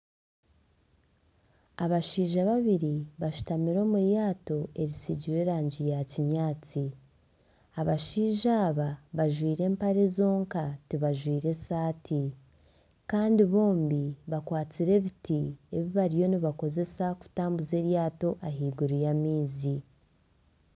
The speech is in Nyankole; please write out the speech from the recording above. Abashaija babiri bashutamire omu ryato erisiigire erangi ya kinyaatsi. Abashaija aba bajwaire empare zonka tibajwaire saati. Kandi bombi bakwatsire ebiti ebi bariyo nibakozesa kutambuza eryato ahaiguru y'amaizi.